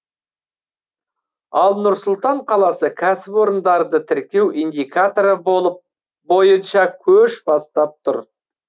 ал нұр сұлтан қаласы кәсіпорындарды тіркеу индикаторы болып бойынша көш бастап тұр